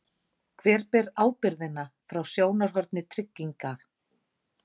Hver ber ábyrgðina frá sjónarhorni trygginga?